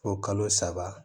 Fo kalo saba